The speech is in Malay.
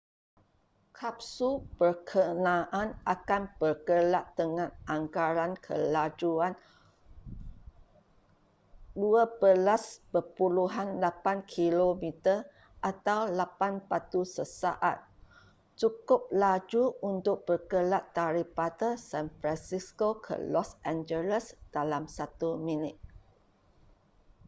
kapsul berkenaan akan bergerak dengan anggaran kelajuan12.8 km atau 8 batu sesaat cukup laju untuk bergerak daripada san francisco ke los angeles dalam satu minit